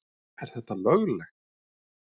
Er þetta löglegt??!!